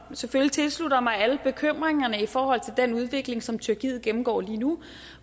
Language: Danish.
selvfølgelig tilslutter sig alle bekymringerne i forhold til den udvikling som tyrkiet gennemgår lige nu